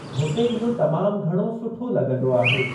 हुते इहो तमाम घणो सुठो लॻंदो आहे।